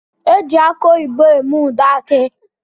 Eji akụ oyibo eme ude aki